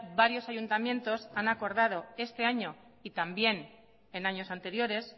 varios ayuntamientos han acordado este año y también en años anteriores